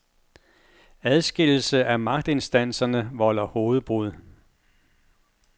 Adskillelse af magtinstanserne volder hovedbrud.